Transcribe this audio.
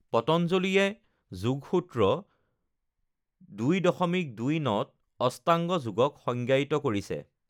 পতঞ্জলীয়ে যোগ সূত্ৰ ২.২৯ত অষ্টাংগ যোগক সংজ্ঞায়িত কৰিছে: